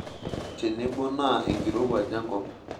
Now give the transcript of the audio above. Tenebo naa enkirowuaj enkop.